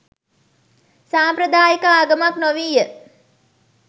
සාම්ප්‍රදායික ආගමක් නොවීය.